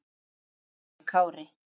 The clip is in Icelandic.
Elsku afi Kári.